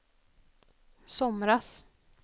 somras